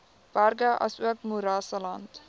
berge asook moeraslande